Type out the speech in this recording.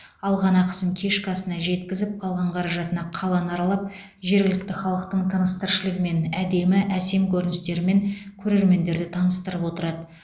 алған ақысын кешкі асына жеткізіп қалған қаражатына қаланы аралап жергілікті халықтың тыныс тіршілігімен әдемі әсем көріністерімен көрермендерді таныстырып отырады